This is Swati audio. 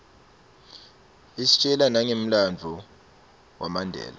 istjela nangemlanduvo wamandela